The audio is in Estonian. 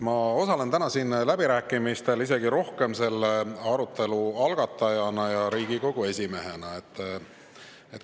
Ma osalen täna siin läbirääkimistel isegi rohkem selle arutelu algatajana ja Riigikogu esimehena.